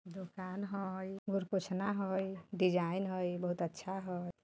दुकान हई गोर पोछना हई डिज़ाइन हई बोहोत अच्छा हई।